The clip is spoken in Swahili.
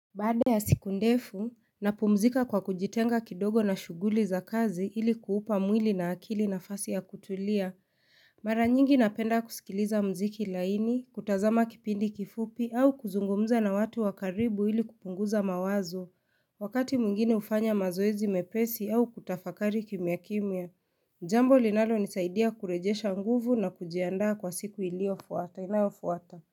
Baada ya siku ndefu, napumzika kwa kujitenga kidogo na shuguli za kazi ili kuupa mwili na akili nafasi ya kutulia. Mara nyingi napenda kusikiliza mziki laini, kutazama kipindi kifupi au kuzungumza na watu wakaribu ili kupunguza mawazo. Wakati mwingine hufanya mazoezi mepesi au kutafakari kimyakimya. Jambo linalonisaidia kurejesha nguvu na kujiandaa kwa siku iliofuata. Inayofuwata.